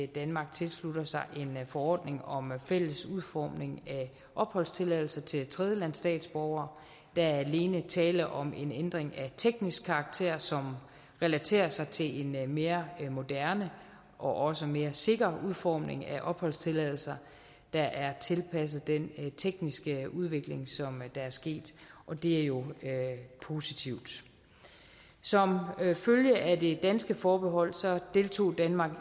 danmark tilslutter sig en forordning om fælles udformning af opholdstilladelser til tredjelandsstatsborgere der er alene tale om en ændring af teknisk karakter som relaterer sig til en mere moderne og også mere sikker udformning af opholdstilladelser der er tilpasset den tekniske udvikling som er sket og det er jo positivt som følge af det danske forbehold deltog danmark